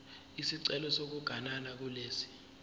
isicelo sokuganana kulesi